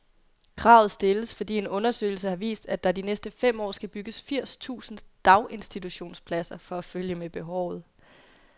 Kravet stilles, fordi en undersøgelse har vist, at der de næste fem år skal bygges firs tusind daginstitutionspladser for at følge med behovet.